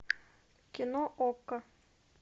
кино окко